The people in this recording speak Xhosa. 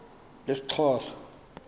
lesixhosa